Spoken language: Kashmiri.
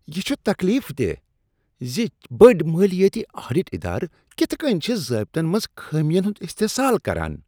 یہ چھ تکلیف دہ زِ بٔڈۍ مالیٲتی آڈٹ ادارٕ کتھہٕ کٔنۍ چھِ ضٲبطن منٛز خامین ہنٛد استحصال کران۔